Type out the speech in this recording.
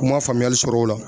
U man faamuyali sɔrɔ o la.